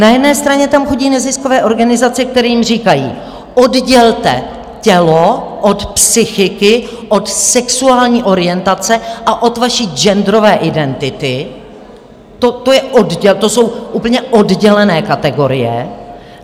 Na jedné straně tam chodí neziskové organizace, které jim říkají: Oddělte tělo od psychiky, od sexuální orientace a od své genderové identity, to jsou úplně oddělené kategorie.